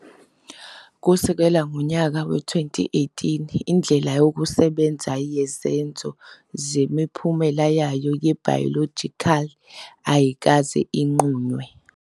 Kusukela ngonyaka we-2018, indlela yokusebenza yezenzo zemiphumela yayo ye-biological ayikaze inqunywe.